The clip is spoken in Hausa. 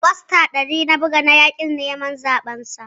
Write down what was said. Fasta ɗari na buga masa na yaƙin neman zaben sa